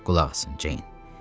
Qulaq asın, Ceyn.